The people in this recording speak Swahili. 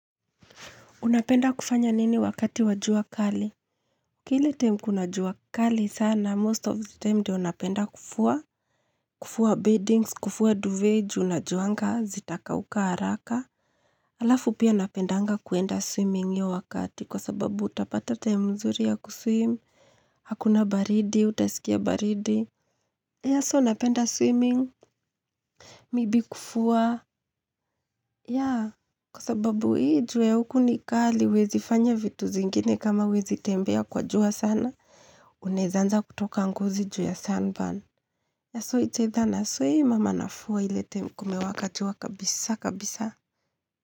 Unapenda kufanya nini wakati wa jua kali? Kili time kuna jua kali sana, most of the time ndiyo napenda kufua. Kufua beddings, kufua duvet juu najuanga, zitakauka haraka. Alafu pia napendanga kuenda swimming hiyo wakati kwa sababu utapata time mzuri ya kuswim. Hakuna baridi, utasikia baridi. Yes, napenda swimming, maybe kufua. Ya, kwa sababu hii jua ya huku ni kali huwezi fanya vitu zingine kama huwezi tembea kwa jua sana, uneza anza kutoka ngozi juu ya sunburn. Ya so its either naswim ama nafua ile time kumewaka jua kabisa, kabisa.